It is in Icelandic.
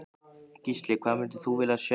Gísli: Hvað myndir þú vilja sjá?